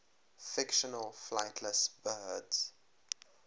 fictional flightless birds